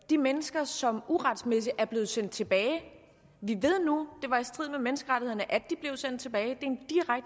de mennesker som uretmæssigt er blevet sendt tilbage vi ved nu at det var i strid med menneskerettighederne at de blev sendt tilbage